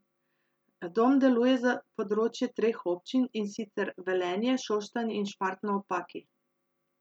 Dom deluje za področje treh občin, in sicer Velenje, Šoštanj in Šmartno ob Paki.